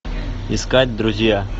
искать друзья